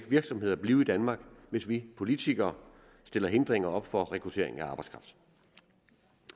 virksomheder blive i danmark hvis vi politikere stiller hindringer op for rekrutteringen af arbejdskraft